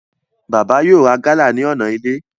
Bàbá yóò ra gálà ní ọ̀nà ilé